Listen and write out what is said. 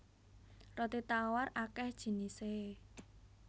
Roti tawar akéh jinisé